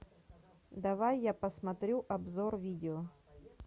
давай я посмотрю обзор видео